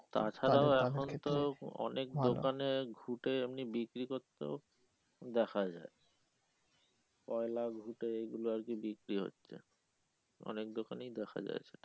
তাছাড়া এখন তো অনেক দোকানে ঘুটে এমনি বিক্রি করতেও দেখা যায় কয়লা ঘুটে এইগুলো আর কি বিক্রি হচ্ছে অনেক দোকানেই দেখা যায় সেটা ।